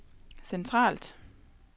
centralt